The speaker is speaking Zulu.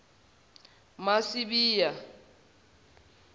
masibiya